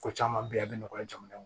Ko caman bɛ yen a bɛ nɔgɔya jamana in kɔnɔ